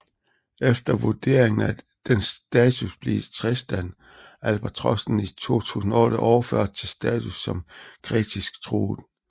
Efter vurderingen af dens status blev Tristan albatrossen i 2008 overført til status som kritisk truet